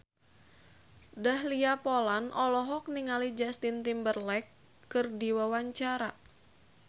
Dahlia Poland olohok ningali Justin Timberlake keur diwawancara